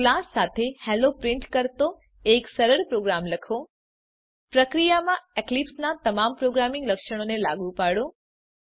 class સાથે hello print કરતો એક સરળ પ્રોગ્રામ લખો પ્રક્રિયામાં એક્લીપ્સનાં તમામ પ્રોગ્રામિંગ લક્ષણોને લાગુ પાડો